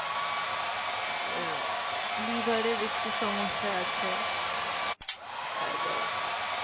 আর liver এর একটু সমস্যা আছে, আর।